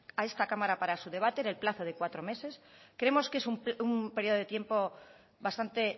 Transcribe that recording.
a esta cámara para su debate en el plazo de cuatro meses creemos que es un periodo de tiempo bastante